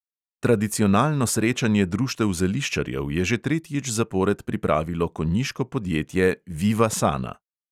Tradicionalno srečanje društev zeliščarjev je že tretjič zapored pripravilo konjiško podjetje viva sana.